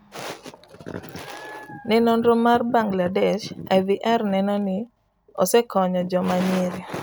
ne nonro mar Bangladesh ,IVR neno ni osekonyo joma nyiri